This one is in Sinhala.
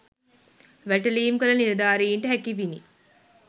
වැටලීම් කළ නිලධාරීන්ට හැකිවිනි